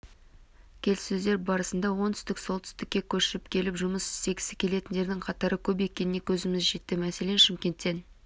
келіссөздер барысында оңтүстіктен солтүстікке көшіп келіп жұмыс істегісі келетіндердің қатары көп екеніне көзіміз жетті мәселен шымкенттен